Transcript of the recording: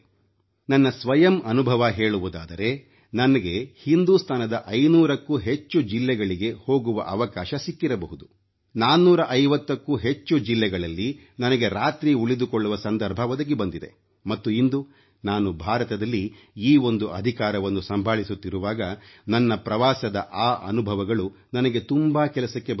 ನನ್ನ ಸ್ವಯಂ ಅನುಭವ ಹೇಳುವುದಾದರೆ ನನಗೆ ಹಿಂದುಸ್ತಾನದ 500ಕ್ಕೂ ಹೆಚ್ಚು ಜಿಲ್ಲೆಗಳಿಗೆ ಹೋಗುವ ಅವಕಾಶ ಸಿಕ್ಕಿರಬಹುದು 450ಕ್ಕೂ ಹೆಚ್ಚು ಜಿಲ್ಲೆಗಳಲ್ಲಿ ನನಗೆ ರಾತ್ರಿ ಉಳಿದುಕೊಳ್ಳುವ ಸಂದರ್ಭ ಒದಗಿ ಬಂದಿದೆ ಮತ್ತು ಇಂದು ನಾನು ಭಾರತದಲ್ಲಿ ಈ ಒಂದು ಅಧಿಕಾರವನ್ನು ಸಂಭಾಳಿಸುತ್ತಿರುವಾಗ ನನ್ನ ಪ್ರವಾಸದ ಆ ಅನುಭವಗಳು ನನಗೆ ತುಂಬಾ ಕೆಲಸಕ್ಕೆ ಬರುತ್ತವೆ